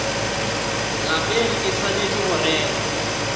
lapeng e swanetše go rerwa